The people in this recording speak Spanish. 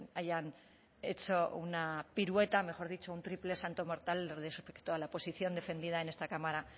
hayan hecho una pirueta mejor dicho un triple salto mortal respecto a la posición defendida en esta cámara